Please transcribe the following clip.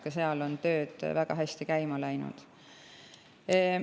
Ka seal on tööd väga hästi käima läinud.